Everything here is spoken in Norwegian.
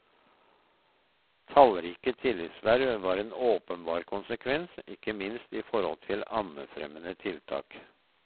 Tallrike tillitsverv var en åpenbar konsekvens, ikke minst i forhold til ammefremmende tiltak.